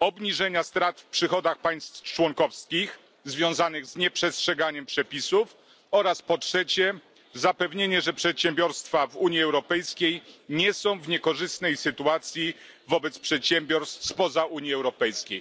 obniżenia strat w przychodach państw członkowskich związanych z nieprzestrzeganiem przepisów oraz, po trzecie, zapewnienie, że przedsiębiorstwa w Unii Europejskiej nie są w niekorzystnej sytuacji wobec przedsiębiorstw spoza Unii Europejskiej.